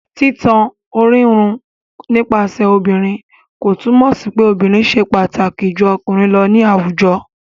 Títan orírun nípasẹ̀ obìnrin kò túmọ̀ sí pé obìnrin ṣe pàtàkì ju ọkùnrin lọ ní àwùjọ.